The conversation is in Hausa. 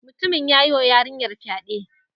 Mutumin ya yi wa yarinyar fyaɗe